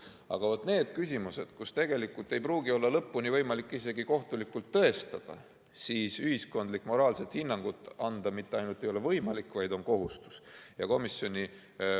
Aga vaat, nendes küsimustes, kus tegelikult ei pruugi olla lõpuni võimalik isegi kohtulikult tõestada, ei ole ühiskondlikult moraalset hinnangut anda mitte ainult võimalik, vaid see on kohustus.